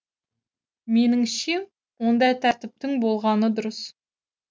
меніңше ондай тәртіптің болғаны дұрыс